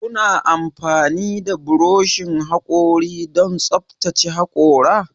Kuna amfani da burushin hakori don tsaftace hakora?